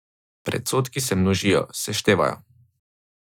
Predsodki se množijo, seštevajo.